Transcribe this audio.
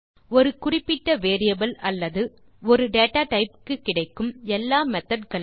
ஒரு குறிப்பிட்ட வேரியபிள் அல்லது ஆ டேட்டாடைப் க்கு கிடைக்கும் எல்லா மெத்தோட் களையும்